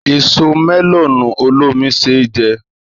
Èso mẹ́lọ̀nù olómi ṣé jẹ.